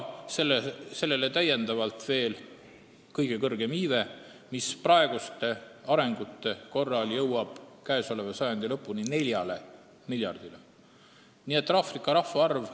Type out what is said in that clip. Sellele lisandub kõige kõrgem iive, mis jõuab praeguste arengute korral käesoleva sajandi lõpul 4 miljardini.